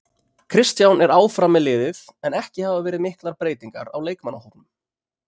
Kristján er áfram með liðið en ekki hafa verið miklar breytingar á leikmannahópnum.